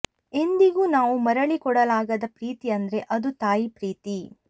ಎಂದಿಗೂ ನಾವು ಮರಳಿ ಕೊಡಲಾಗದ ಪ್ರೀತಿ ಅಂದ್ರೆ ಅದು ತಾಯಿ ಪ್ರೀತಿ